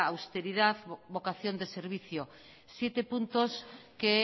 austeridad y vocación de servicio siete puntos que